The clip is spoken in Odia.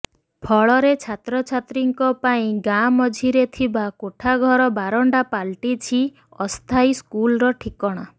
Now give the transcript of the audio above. ଫଳରେ ଛାତ୍ରଛାତ୍ରୀଙ୍କ ପାଇଁ ଗାଁ ମଝିରେ ଥିବା କୋଠଘର ବାରଣ୍ଡା ପାଲଟିଛି ଅସ୍ଥାୟୀ ସ୍କୁଲର ଠିକଣା